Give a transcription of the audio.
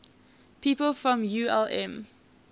people from ulm